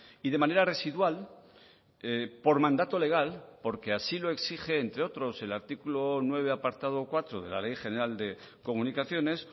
y de manera residual por mandato legal porque así lo exige entre otros el artículo nueve apartado cuatro de la ley general de comunicaciones